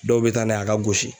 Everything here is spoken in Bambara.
Dɔw bɛ taa n'a ye a ka gosi.